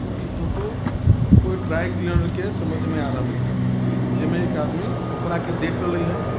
इ फोटो कोई dry cleaner के समझ मे आ रहली हे जेमे एक आदमी कपड़ा के देख रहली ह |